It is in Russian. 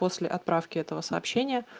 после отправки этого сообщения